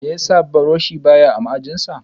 Meyasa buroshi ba ya a ma'aji sa?